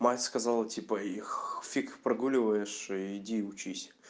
мать сказала типа их фиг прогуливаешь и иди и учись